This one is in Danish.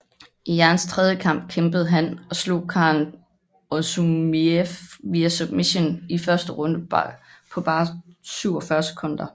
I Jans tredje kamp kæmpede han og slog Kharon Orzumiev via submission i første runde på bare 47 sekunder